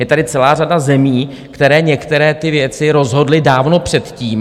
Je tady celá řada zemí, které některé ty věci rozhodly dávno předtím.